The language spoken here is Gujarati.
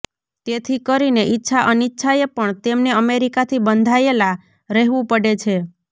તેથી કરીને ઇચ્છા અનિચ્છાએ પણ તેમને અમેરિકાથી બંધાયેલા રહેવું પડે છે